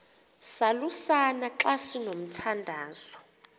salusana xa sinomthandazo